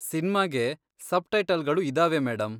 ಸಿನ್ಮಾಗೆ ಸಬ್ಟೈಟಲ್ಗಳು ಇದಾವೆ ಮೇಡಂ.